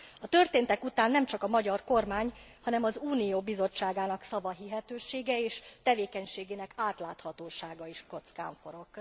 A történtek után nem csak a magyar kormány, hanem az Unió Bizottságának szavahihetősége és tevékenységének átláthatósága is kockán forog.